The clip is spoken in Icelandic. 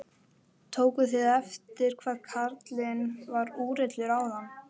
Tókuð þið eftir hvað karlinn var úrillur áðan?